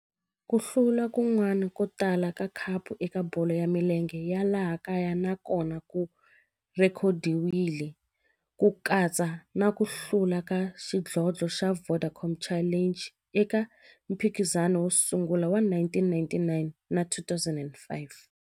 Ku hlula kun'wana ko tala ka khapu eka bolo ya milenge ya laha kaya na kona ku rhekhodiwile, ku katsa na ku hlula ka xidlodlo xa Vodacom Challenge eka mphikizano wo sungula wa 1999 na 2005.